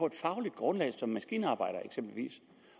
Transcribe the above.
et fagligt grundlag som maskinarbejdere eksempelvis